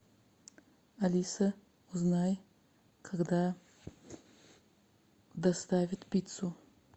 алиса узнай когда доставят пиццу